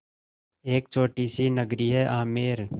एक छोटी सी नगरी है आमेर